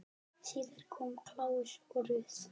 Síðar komu Claus og Ruth.